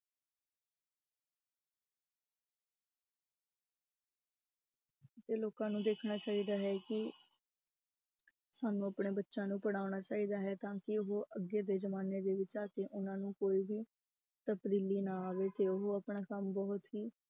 ਤੇ ਲੋਕਾਂ ਨੂੰ ਦੇਖਣਾ ਚਾਹੀਦਾ ਹੈ ਕਿ ਸਾਨੂੰ ਆਪਣੇ ਬੱਚਿਆਂ ਨੂੰ ਪੜ੍ਹਾਉਣਾ ਚਾਹੀਦਾ ਹੈ ਤਾਂ ਕਿ ਉਹ ਅੱਗੇ ਦੇ ਜ਼ਮਾਨੇ ਦੇ ਵਿੱਚ ਜਾ ਕੇ ਉਹਨਾਂ ਨੂੰ ਕੋਈ ਵੀ ਤਬਦੀਲੀ ਨਾ ਆਵੇ ਤੇ ਉਹ ਆਪਣਾ ਕੰਮ ਬਹੁਤ ਹੀ